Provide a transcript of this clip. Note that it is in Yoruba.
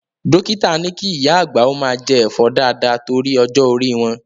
Dókítà ni kí ìyá àgbà ó máa jẹ Ẹ̀fọ́ dáàda torí ọjọ́ orí wọn.